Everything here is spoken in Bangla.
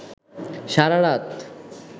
সারা রাত